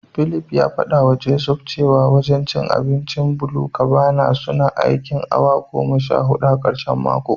Philip ya fadawa Joseph cewa wajen abincin BluCabana suna aikin awa goma sha hudu a karshen mako.